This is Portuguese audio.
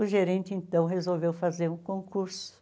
O gerente, então, resolveu fazer um concurso.